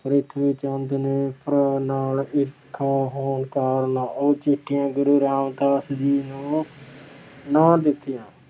ਪ੍ਰਿਥਵੀ ਚੰਦ ਨੇ ਭਰਾ ਨਾਲ ਈਰਖਾ ਹੋਣ ਕਾਰਨ ਉਹ ਚਿੱਠੀਆਂ ਗੁਰੂ ਰਾਮਦਾਸ ਜੀ ਨੂੰ ਨਾ ਦਿੱਤੀਆਂ।